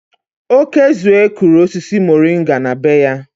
Okezue kụrụ osisi moringa na be ya.